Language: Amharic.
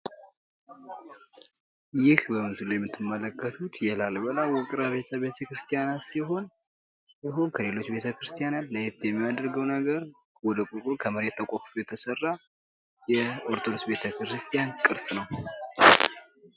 ይህ በምስሉ ላይ የምትመለከቱት የ ላሊበላ ውቅር አቢያተ ቤተ ክርስቲያናት ሲሆን ከሌሎች ቤተክርቲያናት ለየት የሚያደርገው ነገር ወደ ቁልቁል ከመሬት ተቆፍሮ የተሰራ የኦርቶዶክስ ቤተ ክርስቲያን ቅርስ ነው።